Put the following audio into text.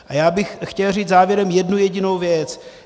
A já bych chtěl říct závěrem jednu jedinou věc.